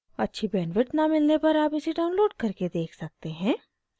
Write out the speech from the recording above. अच्छी bandwidth न मिलने पर आप इसे download करके देख सकते हैं